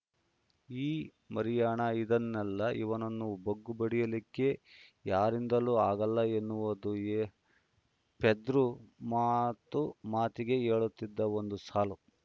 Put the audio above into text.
ಈ ಮರಿಯಾಣ ಇದಾನಲ್ಲ ಇವನನ್ನ ಬಗ್ಗು ಬಡೀಲಿಕ್ಕೆ ಯಾರಿಂದಲೂ ಆಗಲ್ಲ ಅನ್ನುವುದು ಪೆದ್ರು ಮಾತು ಮಾತಿಗೆ ಹೇಳುತ್ತಿದ್ದ ಒಂದು ಸಾಲು